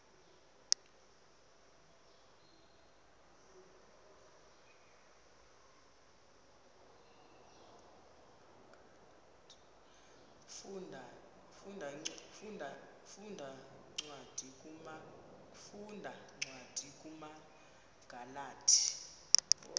funda cwadi kumagalati